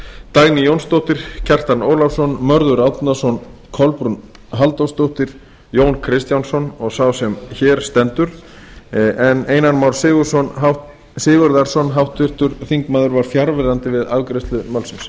dagný jónsdóttir kjartan ólafsson mörður árnason kolbrún halldórsdóttir jón kristjánsson og sá sem hér stendur en háttvirtur þingmaður einar már sigurðarson var fjarverandi við afgreiðslu málsins